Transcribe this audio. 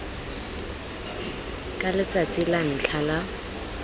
ka letsatsi la ntlha la